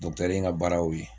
in ka baara y'o ye